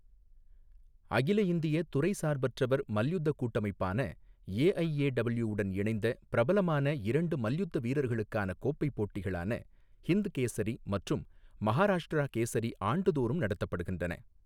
அகில இந்திய துறை சார்பற்றவர் மல்யுத்த கூட்டமைப்பான ஏஐஏடபுள்யூ உடன் இணைந்த பிரபலமான இரண்டு மல்யுத்த வீரர்களுக்கான கோப்பை போட்டிகளான ஹிந்த் கேசரி மற்றும் மஹாராஷ்டிரா கேசரி ஆண்டுதோறும் நடத்தப்படுகின்றன.